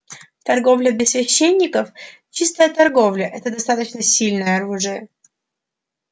торговля без священников чистая торговля это достаточно сильное оружие